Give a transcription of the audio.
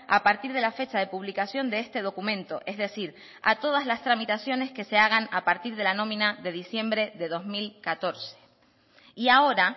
a partir de la fecha de publicación de este documento es decir a todas las tramitaciones que se hagan a partir de la nómina de diciembre de dos mil catorce y ahora